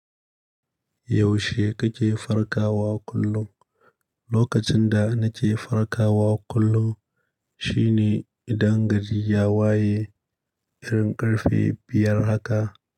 Yaushe kake farkawa kullum? Lokacin da na ke farkawa kullum shine idan gari ya waye irin karfe biyar haka.